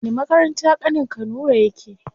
Wani makaranta ƙanin ka nura yake?